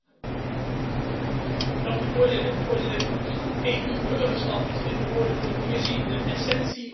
Voorzitter, EU burgerschap is in de woorden van de Commissie de essentie van het gemeenschappelijke Europese project.